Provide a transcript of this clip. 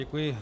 Děkuji.